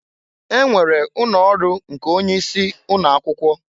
E nwere ụnọ ọrụ nke onye isi ụnọ akwụkwọ.